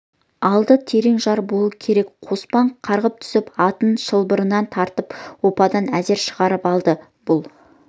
алды терең жар болу керек қоспан қарғып түсіп атын шылбырынан тартып оппадан әзер шығарып алды бұл